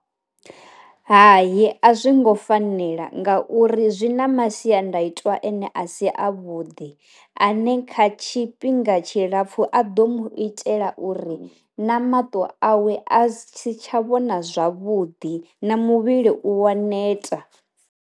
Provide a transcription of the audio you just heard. Hayi a zwi ngo fanela nga uri zwi na masiandaitwa ane a si a vhuḓi ane kha tshifhinga tshi lapfu a ḓo mu itela uri na maṱo awe a si tsha vhona zwavhuḓi na muvhili u wa neta.